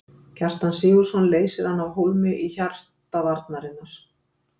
Kjartan Sigurðsson leysir hann af hólmi í hjarta varnarinnar.